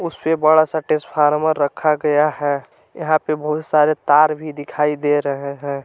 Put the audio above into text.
उसपे बड़ा सा टेसफार्मर रखा गया है यहां पे बहुत सारे तार भी दिखाई दे रहे हैं।